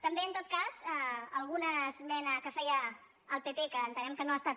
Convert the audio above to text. també en tot cas alguna esmena que feia el pp que entenem que no ha estat